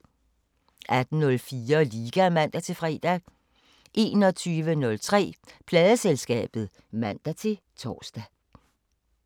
18:04: Liga (man-fre) 21:03: Pladeselskabet (man-tor)